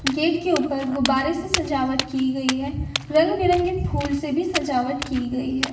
Gate के ऊपर ग़ुब्बारें से सजावट की गए है। रंग बिरंगे फूल से भी सजवाट की गयी है।